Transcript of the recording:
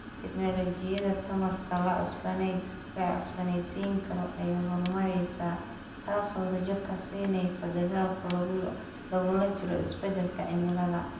Tignoolajiyada tamarta la cusboonaysiin karo ayaa horumaraysa, taasoo rajo ka siinaysa dagaalka lagula jiro isbeddelka cimilada.